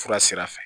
Fura sira fɛ